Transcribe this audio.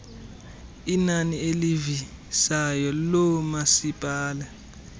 inani elivisayo loomasipala